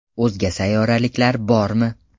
O‘zga sayyoraliklar bormi?